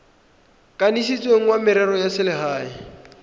kanisitsweng wa merero ya selegae